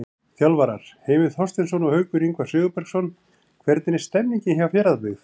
Þjálfarar: Heimir Þorsteinsson og Haukur Ingvar Sigurbergsson Hvernig er stemningin hjá Fjarðabyggð?